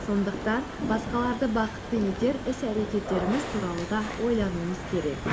сондықтан басқаларды бақытты етер іс әрекеттеріміз туралы да ойлануымыз керек